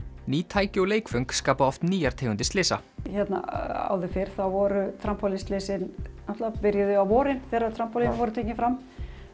ný tæki og leikföng skapa oft nýjar tegundir slysa hérna áður fyrr voru náttúrulega byrjuðu á vorin þegar trampólínin voru tekin fram